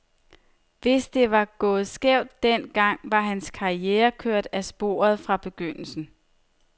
Hvis det var gået skævt den gang, var hans karriere kørt af sporet fra begyndelsen.